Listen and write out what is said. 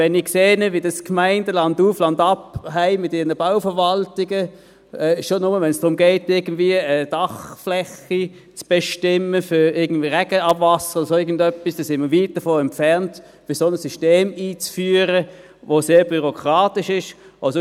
Wenn ich sehe, wie dies die Gemeinden landauf, landab mit ihren Bauverwaltungen haben – schon nur, wenn es darum geht, eine Dachfläche für Regenabwasser oder dergleichen zu bestimmen –, sind wir weit davon entfernt, ein solches System einzuführen, welches sehr bürokratisch ist.